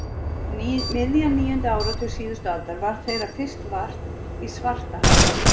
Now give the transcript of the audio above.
Um miðjan níunda áratug síðustu aldar varð þeirra fyrst vart í Svartahafi.